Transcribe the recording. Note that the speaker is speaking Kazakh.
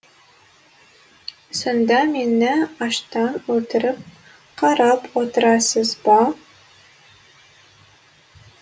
сонда мені аштан өлтіріп қарап отырасыз ба